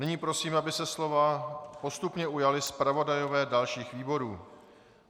Nyní prosím, aby se slova postupně ujali zpravodajové dalších výborů.